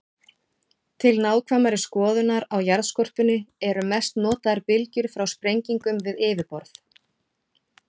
Til nákvæmari skoðunar á jarðskorpunni eru mest notaðar bylgjur frá sprengingum við yfirborð.